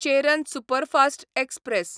Cheran superfast express